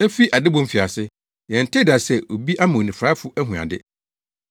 Efi adebɔ mfiase, yɛntee da sɛ obi ama onifuraefo ahu ade;